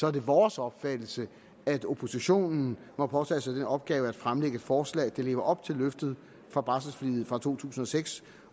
er det vores opfattelse at oppositionen må påtage sig den opgave at fremsætte forslag der lever op til løftet fra barselforliget fra to tusind og seks